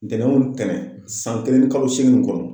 Dɛnɛnw o ntɛnɛn san kelen ni kalo seegin in kɔnɔ.